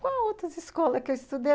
Qual outras escolas que eu estudei?